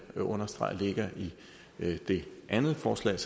jeg understrege ligger i det andet forslag